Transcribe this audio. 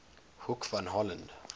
hoek van holland